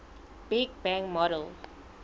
big bang model